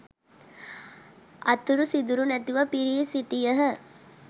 අතුරු සිදුරු නැතිව පිරී සිටියහ.